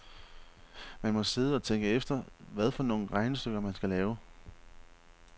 Man må sidde og tænke efter, hvad for nogle regnestykker man skal lave.